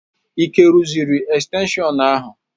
Ike rụziri estenshịon ahụ?